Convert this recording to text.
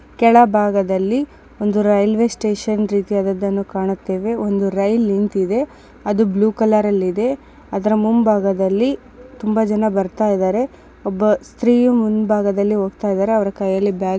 ಕೆಳಭಾಗದಲ್ಲಿ ಒಂದು railway station ರೀತಿಯದ್ದನ್ನು ಕಾಣುತ್ತೇವೆ ಒಂದು ರೈಲು ನಿಂತ್ತಿದೆ ಅದು ಬ್ಲೂ ಕಲರ್ನಲ್ಲಿ ಇದೆ ಅದರ ಮುಂಭಾಗದಲ್ಲಿ ತುಂಬಾ ಜನ ಬರ್ತೀದಾರೆ ಒಬ್ಬ ಸ್ತ್ರೀಯು ಮುಂಭಾಗದಲ್ಲಿ ಹೋಗ್ತಿದಾರೆ.ಅವರ ಕೈಯಲ್ಲಿ ಬ್ಯಾಗ್‌ ಇದೆ .